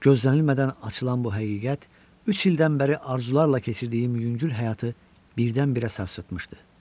Gözlənilmədən açılan bu həqiqət üç ildən bəri arzularla keçirdiyim yüngül həyatı birdən-birə sarsıtmışdı.